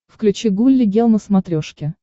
включи гулли гел на смотрешке